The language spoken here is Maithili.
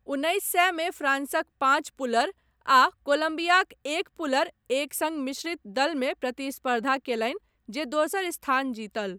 उन्नैस सए मे फ्रांसक पाँच पुलर आ कोलम्बियाक एक पुलर एक सङ्ग मिश्रित दलमे प्रतिस्पर्धा कयलनि जे दोसर स्थान जीतल।